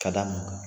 Ka da mun kan